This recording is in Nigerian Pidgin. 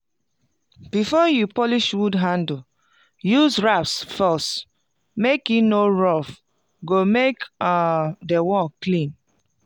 before you polish wood handle use rasp first make e no roughe go make um di work clean